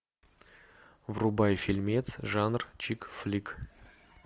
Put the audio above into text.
врубай фильмец жанр чик флик